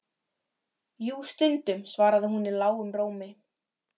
Jú, stundum, svaraði hún í lágum rómi.